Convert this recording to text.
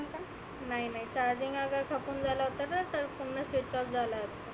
नाही नाही charging खतम झाला असताना तर switchoff झाला असता.